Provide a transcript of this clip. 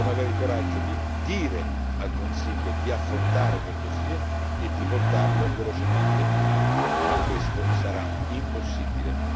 Dovremmo avere il coraggio di dire al Consiglio di affrontare quel dossier e di portarlo velocemente in Aula, ma questo sarà impossibile.